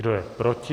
Kdo je proti?